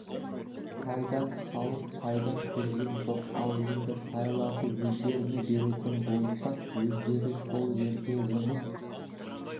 пайдан халық пайда көрген жоқ ал енді пайларды өздеріне беретін болсақ өздері сол жерде жұмыс